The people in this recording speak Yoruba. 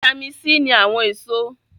Vítámì ní àwọn èso